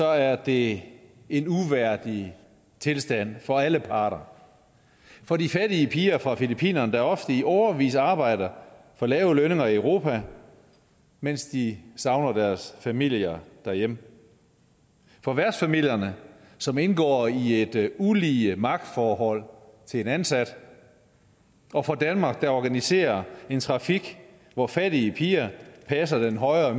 er det en uværdig tilstand for alle parter for de fattige piger fra filippinerne der ofte i årevis arbejder for lave lønninger i europa mens de savner deres familier derhjemme for værtsfamilierne som indgår i et ulige magtforhold til en ansat og for danmark der organiserer en trafik hvor fattige piger passer den højere